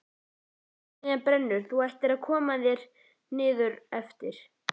Verksmiðjan brennur, þú ættir að koma þér niður eftir.